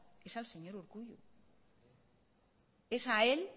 es al señor urkullu es a él